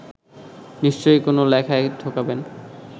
নিশ্চয়ই কোনো লেখায় ঢোকাবেন